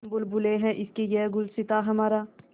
हम बुलबुलें हैं इसकी यह गुलसिताँ हमारा